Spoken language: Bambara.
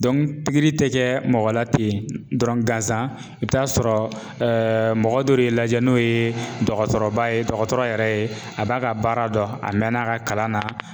pikiri tɛ kɛ mɔgɔ la ten dɔrɔn gansan i bɛ t'a sɔrɔ mɔgɔ dɔ de y'i lajɛ n'o ye dɔgɔtɔrɔba ye dɔgɔtɔrɔ yɛrɛ ye a b'a ka baara dɔn a mɛnna a ka kalan na.